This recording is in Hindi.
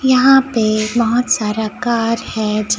यहां पे बहोत सारा कार है।